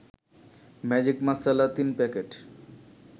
magic masala ৩ packet